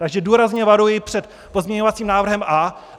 Takže důrazně varuji před pozměňovacím návrhem A.